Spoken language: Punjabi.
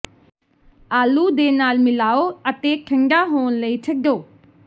ਆਲੂ ਦੇ ਨਾਲ ਮਿਲਾਓ ਅਤੇ ਠੰਢਾ ਹੋਣ ਲਈ ਛੱਡੋ